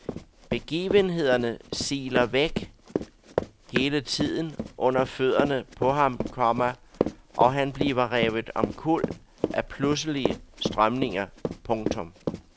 Begivenhederne siler hele tiden væk under fødderne på ham, komma og han bliver revet omkuld af pludselige strømninger. punktum